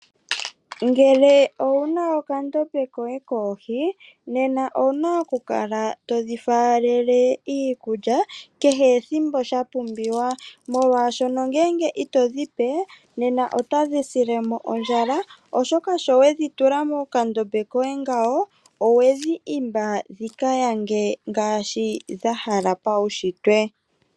Ngele owuna okandombe koye koohi nena owuna okukala todhi falele iikulya kehe ethimbo shapumbiwa, molwaasho ngenge ito dhi pe nena otadhi silemo ondjala oshoka shiwedhitula mokandombe koye ngawo owedhi himba dhikayange ngaashi dha hala paushitwe.